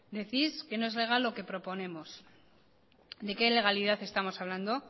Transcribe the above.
decís que no es legal lo que proponemos de qué ilegalidad estamos hablando